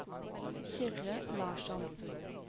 Kyrre Larsson